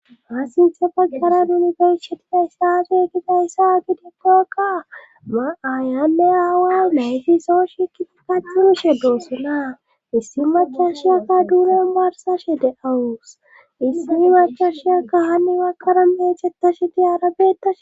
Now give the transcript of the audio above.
Assinthe paggara nunibeyshediga istaafe gifayssa gidikkoakka ma'aayanne aawa layfisoo shikiti kachunushe doossonaa issi macashiyakka duunen barsashe de awus issimi macashiyakka hanni makara meechetashe diyaarabeetashe.